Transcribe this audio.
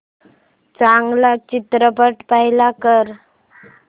चांगला चित्रपट प्ले कर